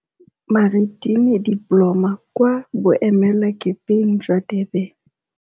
Maritime Diploma kwa Boemelakepeng jwa Durban.